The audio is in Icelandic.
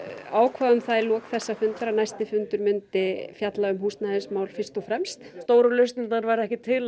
ákváðum það í lok þessa fundar að næsti fundur myndi fjalla um húsnæðismál fyrst og fremst stóru lausnirnar verða ekki til